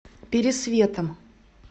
пересветом